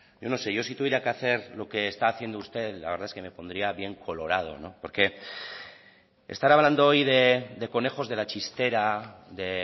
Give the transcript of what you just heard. yo no sé yo si tuviera que hacer lo que está haciendo usted la verdad es que me pondría bien colorado porque estar hablando hoy de conejos de la chistera de